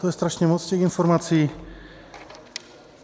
To je strašně moc těch informací...